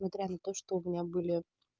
смотря на то что у меня были